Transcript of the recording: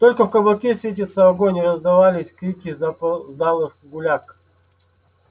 только в кабаке светился огонь и раздавались крики запоздалых гуляк